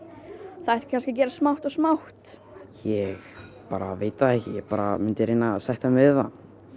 það ætti kannski að gerast smátt og smátt ég bara veit það ekki ég bara myndi reyna að sætta mig við það